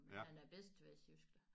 Men han er bedst til vestjysk da